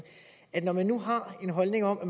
når man nu har en holdning om at